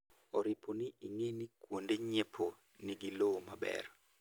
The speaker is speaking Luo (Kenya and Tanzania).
oripo ni ing'e ni kuonde nyiepo nigi lowo maber